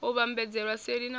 u vhambadzelwa seli na u